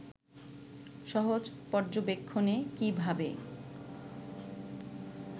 সহজ পর্যবেক্ষণে কী ভাবে